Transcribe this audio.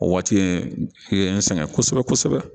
O waati in i ye n sɛgɛn kosɛbɛ kosɛbɛ